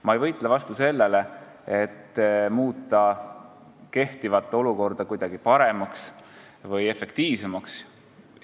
Ma ei võitle vastu sellele, et muuta olukorda kuidagi paremaks või efektiivsemaks.